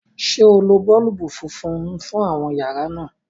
ṣe o ló boolubu fúnfún fún àwọn yàrá náa?